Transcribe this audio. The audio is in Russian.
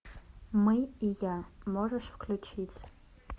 мы и я можешь включить